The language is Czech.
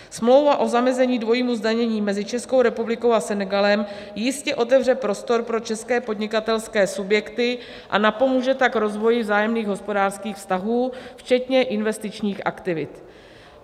Smlouva o zamezení dvojímu zdanění mezi Českou republikou a Senegalem jistě otevře prostor pro české podnikatelské subjekty a napomůže tak rozvoji vzájemných hospodářských vztahů, včetně investičních aktivit.